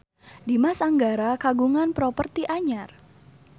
Dimas Anggara kagungan properti anyar